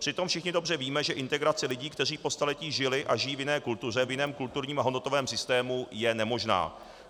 Přitom všichni dobře víme, že integrace lidí, kteří po staletí žili a žijí v jiné kultuře, v jiném kulturním a hodnotovém systému, je nemožná.